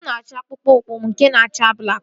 Mụ na-achọ akpụkpọ ụkwụ m nke na-acha blakị